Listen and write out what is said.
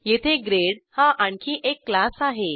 येथे ग्रेड हा आणखी एक क्लास आहे